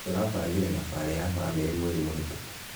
Tũrabangire thabari ya bamĩrĩ mweri mũhitũkũ